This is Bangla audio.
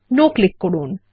নো ক্লিক করুন